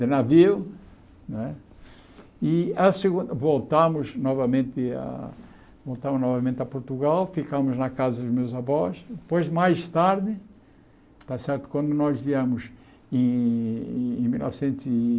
de navio não é e a segun voltamos novamente a voltamos novamente a Portugal, ficamos na casa dos meus avós, depois mais tarde, tá certo quando nós viemos em em mil novecentos e